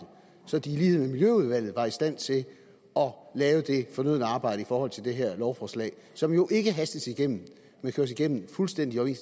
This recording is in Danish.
så det i lighed med miljøudvalget er i stand til at lave det fornødne arbejde i forhold til det her lovforslag som jo ikke hastes igennem men køres igennem fuldstændig i